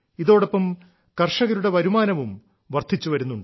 ഇതോടൊപ്പം കർഷകരുടെ വരുമാനവും വർദ്ധിച്ചുവരുന്നുണ്ട്